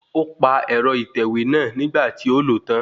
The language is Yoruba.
O pa ẹ̀rọ ìtẹ̀wẹ́ náà nígbà tí ó lòó tán